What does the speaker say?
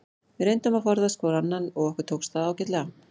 Við reyndum að forðast hvor annan og okkur tókst það ágætlega.